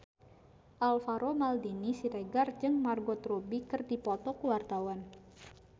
Alvaro Maldini Siregar jeung Margot Robbie keur dipoto ku wartawan